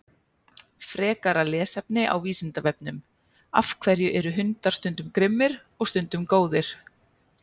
Frekara lesefni á Vísindavefnum: Af hverju eru hundar stundum grimmir og stundum góðir?